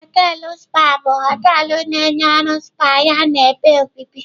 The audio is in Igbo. Họteelụ spa bụ họteelụ na-enye ọrụ spa yana ebe obibi.